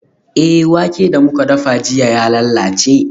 Eh, wake da muka dafa jiya ya lalace.